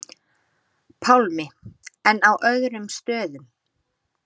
Pálmi: En á öðrum stöðum?